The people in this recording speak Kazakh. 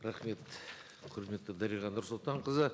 рахмет құрметті дариға нұрсұлтанқызы